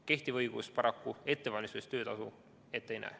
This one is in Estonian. Kehtiv õigus paraku ettevalmistuse eest töötasu ette ei näe.